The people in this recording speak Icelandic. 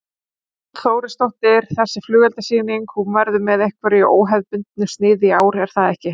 Hrund Þórsdóttir: Þessi flugeldasýning, hún verður með einhverju óhefðbundnu sniði í ár er það ekki?